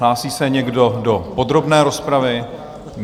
Hlásí se někdo do podrobné rozpravy?